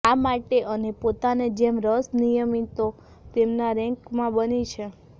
આ માટે અને પોતાને જેમ રસ અનિયમિતો તેમના રેન્ક માં બની છે